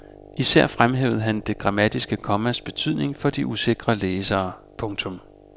Især fremhævede han det grammatiske kommas betydning for de usikre læsere. punktum